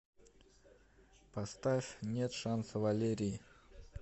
поставь нет шанса валерии